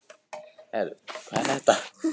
Ég get alltaf fengið mér smart vinnu seinna.